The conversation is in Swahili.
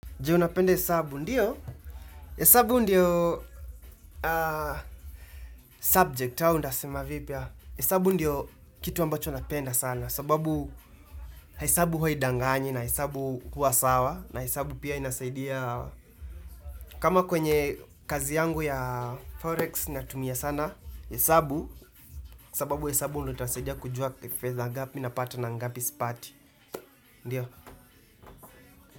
Je unapenda hesabu ndiyo? Hesabu ndiyo subject au nitasema vipi? Hesabu ndiyo kitu ambacho napenda sana sababu hesabu huwa haidanganyi na hesabu huwa sawa na hesabu pia inasaidia kama kwenye kazi yangu ya forex natumia sana hesabu, sababu hesabu ndo itansaidia kujua fedha ngapi napata na ngapi sipati, ndiyo?